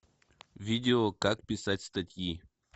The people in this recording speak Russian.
видео как писать статьи